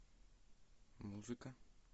музыка